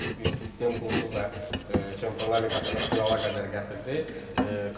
O bu bir sistem qurdu və Çempionlar Liqasında finala qədər gətirdi komandanı.